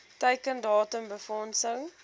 teiken datum befondsing